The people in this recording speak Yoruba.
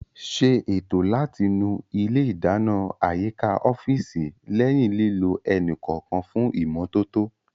Ṣé ètò láti nu ilé ìdáná àyíká ọ́fíìsì lẹ́yìn lílò ẹni kọ̀ọ̀kan fún ìmọ́tótó